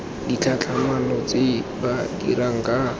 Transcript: ditlhatlhamano tse ba dirang ka